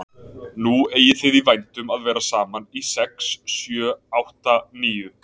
Nú eigið þið í vændum að vera saman í sex sjö átta níu